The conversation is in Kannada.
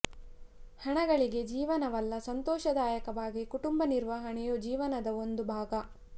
ಹಣ ಗಳಿಕೆ ಜೀವನವಲ್ಲ ಸಂತೋಷದಾಯಕವಾಗಿ ಕುಟುಂಬ ನಿರ್ವಹಣೆಯೂ ಜೀವನದ ಒಂದು ಭಾಗ